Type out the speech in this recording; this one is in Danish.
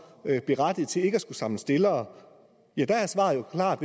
berettiget til ikke at skulle samle stillere ja der er svaret jo klart